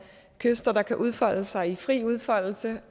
kyster der kan udfolde sig i fri udfoldelse